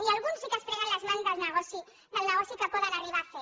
i alguns sí que es freguen les mans del negoci que poden arribar a fer